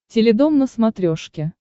теледом на смотрешке